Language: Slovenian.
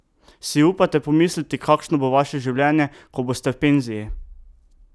Si upate pomisliti, kakšno bo vaše življenje, ko boste v penziji?